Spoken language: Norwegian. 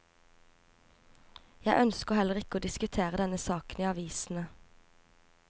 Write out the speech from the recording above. Jeg ønsker heller ikke å diskutere denne saken i avisene.